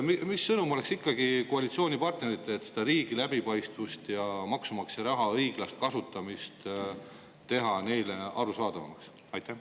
Milline ikkagi oleks see sõnum koalitsioonipartneritele, mis teeks läbipaistva riigi ja maksumaksja raha õiglase kasutamise neile arusaadavamaks?